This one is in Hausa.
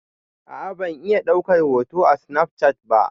A'a ban iya daukar hoto a snafcat ba.